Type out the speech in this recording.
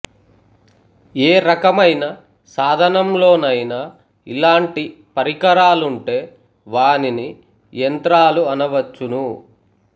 ఏ రకమైన సాధనంలోనైనా ఇలాంటి పరికరాలుంటే వానిని యంత్రాలు అనవచ్చును